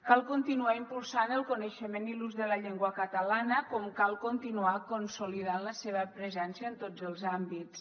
cal continuar impulsant el coneixement i l’ús de la llengua catalana com cal continuar consolidant la seva presència en tots els àmbits